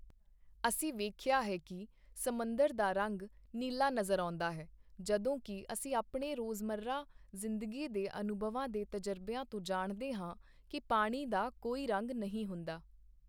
ਅਸੀਂ ਵੇਖਿਆ ਹੈ ਕਿ ਸਮੁੰਦਰ ਦਾ ਰੰਗ ਨੀਲਾ ਨਜ਼ਰ ਆਉਦਾ ਹੈ, ਜਦੋਂ ਕਿ ਅਸੀਂ ਆਪਣੇ ਰੋਜ਼ਮਰਾ ਜ਼ਿੰਦਗੀ ਦੇ ਅਨੁਭਵਾਂ ਦੇ ਤਜ਼ਰਬਿਆਂ ਤੋਂ ਜਾਣਦੇ ਹਾਂ ਕਿ ਪਾਣੀ ਦਾ ਕੋਈ ਰੰਗ ਨਹੀਂ ਹੁੰਦਾ।